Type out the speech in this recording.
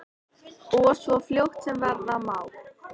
Og svo fljótt sem verða má.